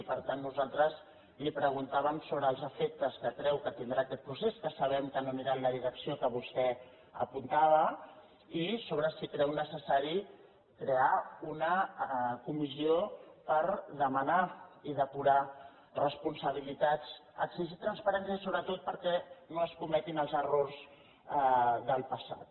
i per tant nosaltres li preguntàvem sobre els afectes que creu que tindrà aquest procés que sabem que no anirà en la direcció que vostè apuntava i sobre si creu necessari crear una comissió per demanar i depurar responsabilitats exigir transparència sobretot perquè no es cometin els errors del passat